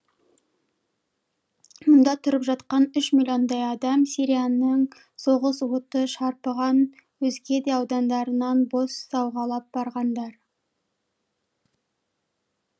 мұнда тұрып жатқан үш миллиондай адам сирияның соғыс оты шарпыған өзге де аудандарынан бос сауғалап барғандар